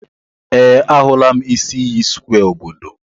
Ee, ahụla m isi iyi square obodo.